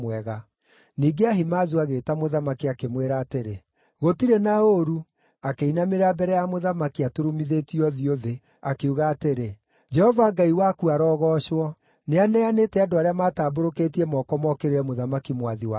Ningĩ Ahimaazu agĩĩta mũthamaki, akĩmwĩra atĩrĩ, “Gũtirĩ na ũũru!” Akĩinamĩrĩra mbere ya mũthamaki aturumithĩtie ũthiũ thĩ, akiuga atĩrĩ, “Jehova Ngai waku arogoocwo! Nĩaneanĩte andũ arĩa maatambũrũkĩtie moko mookĩrĩre mũthamaki mwathi wakwa.”